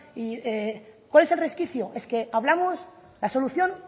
cuál es el resquicio es que hablamos la solución